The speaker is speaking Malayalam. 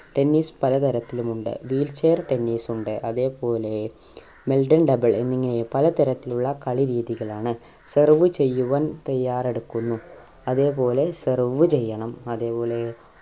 tennis പല തരത്തിലും ഉണ്ട് wheel chair tennis ഉണ്ട് അതേപോലെ meldon double എന്നിങ്ങനെ പല തരത്തിലുള്ള കളിരീതികൾ ആണ് serve ചെയ്യുവാൻ തയ്യാറെടുക്കുന്നു അതേപോലെ serve ചെയ്യണം അതേപോലെ